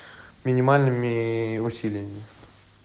минимальными усилиями